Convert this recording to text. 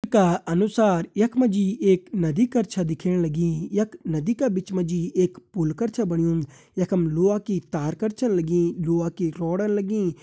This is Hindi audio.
चित्र का अनुसार यख मा जी एक नदी कर छ दिखेण लगीं यख नदी का बिच मा जी एक पुल कर छ बणयुं यखम लोहा की तार कर छन लगीं लोहा की रॉड लगीं।